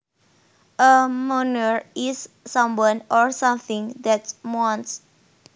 A moaner is someone or something that moans